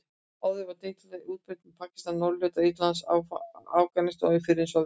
Áður var deilitegundin útbreidd um Pakistan, norðurhluta Indlands, Afganistan og í fyrrum Sovétríkjunum.